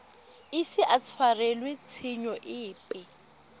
ise a tshwarelwe tshenyo epe